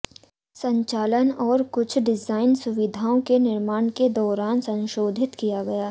संचालन और कुछ डिजाइन सुविधाओं के निर्माण के दौरान संशोधित किया गया